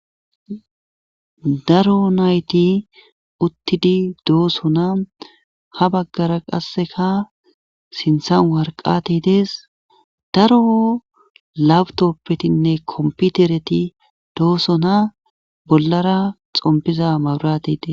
Daro nayti uttidi doosona ha baggara qasseka sinthan warqati dees daro labutoppetinne kompitereti doosona bollara xompiza mawrati dees.